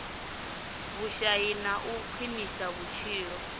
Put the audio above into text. vhushai na u khwinisa vhutshilo